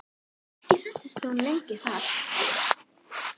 Ekki entist hún lengi þar.